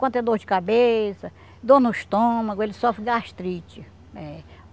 Quando tem dor de cabeça, dor no estômago, ele sofre gastrite. É